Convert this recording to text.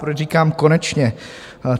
Proč říkám konečně?